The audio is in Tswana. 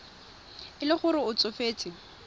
e le gore o tsofetse